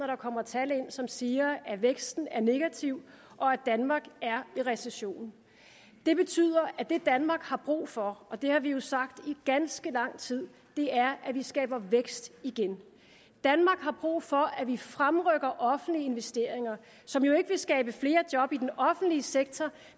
der kommer tal ind som siger at væksten er negativ og at danmark er i recession det betyder at det danmark har brug for og det har vi jo sagt i ganske lang tid er at der skabes vækst igen danmark har brug for at vi fremrykker offentlige investeringer som jo ikke vil skabe flere job i den offentlige sektor